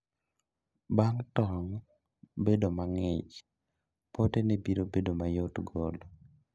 Bang' tong' bedo mang'ich, potene biro bedo mayot golo